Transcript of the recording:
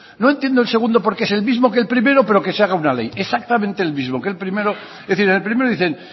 no entiendo el segundo porque es el mismo que el primero pero se haga una ley exactamente el mismo que el primero es decir en el primero dicen